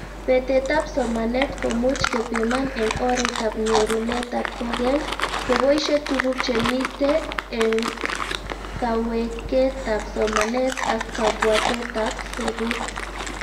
Betetab somanet komuch kepiman eng oretab nyorunetab koykeny, keboishe tuguk chemite eng kaweketab somanet ak kabwatetab sobet